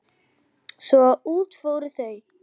Svo að út fóru þau.